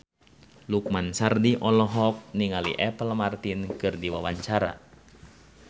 Lukman Sardi olohok ningali Apple Martin keur diwawancara